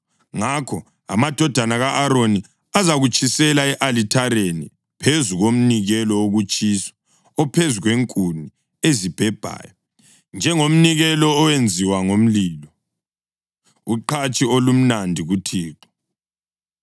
Ngakho amadodana ka-Aroni azakutshisela e-alithareni, phezu komnikelo wokutshiswa ophezu kwenkuni ezibhebhayo njengomnikelo owenziwa ngomlilo, uqhatshi olumnandi kuThixo.